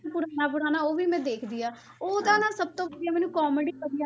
ਪੁਰਾਣਾ ਪੁਰਾਣਾ ਉਹ ਵੀ ਮੈਂ ਦੇਖਦੀ ਹਾਂ ਉਹਦਾ ਨਾ ਸਭ ਤੋਂ ਵਧੀਆ ਮੈਨੂੰ comedy ਵਧੀਆ,